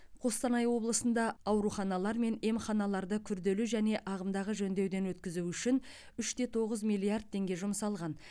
қостанай облысында ауруханалар мен емханаларды күрделі және ағымдағы жөндеуден өткізу үшін үш те тоғыз миллиард теңге жұмсалған